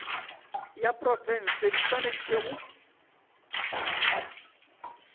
ya profense di swanetše go